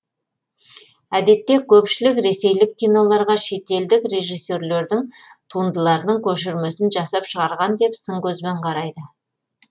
әдетте көпшілік ресейлік киноларға шетелдік режиссерлердің туындыларының көшірмесін жасап шығарған деп сын көзбен қарайды